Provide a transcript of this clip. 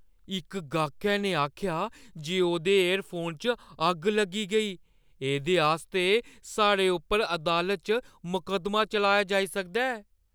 इक गाह्कै ने आखेआ जे ओह्दे ईयरफोन च अग्ग लग्गी गेई। एह्दे आस्तै साढ़े उप्पर अदालता च मकद्दमा चलाया जाई सकदा ऐ।